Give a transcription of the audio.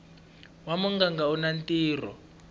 wa muganga u na ntirho